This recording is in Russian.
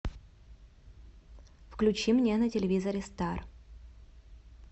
включи мне на телевизоре стар